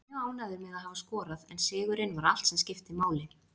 Ég er mjög ánægður með að hafa skorað en sigurinn var allt sem skipti máli.